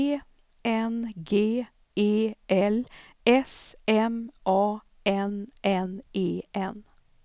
E N G E L S M A N N E N